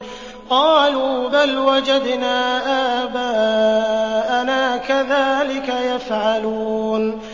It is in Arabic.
قَالُوا بَلْ وَجَدْنَا آبَاءَنَا كَذَٰلِكَ يَفْعَلُونَ